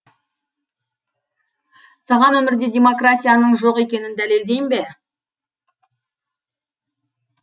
саған өмірде демократияның жоқ екенін дәлелдейін бе